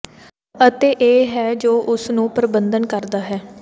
ਅਤੇ ਇਹ ਹੈ ਜੋ ਉਸ ਨੂੰ ਪਰਬੰਧਨ ਕਰਦਾ ਹੈ